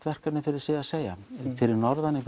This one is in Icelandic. verkefni fyrir sig að segja fyrir norðan í